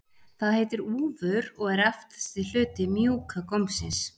Það heitir úfur og er aftasti hluti mjúka gómsins.